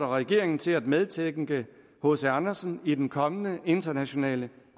regeringen til at medtænke hc andersen i den kommende internationale